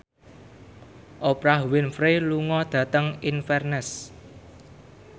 Oprah Winfrey lunga dhateng Inverness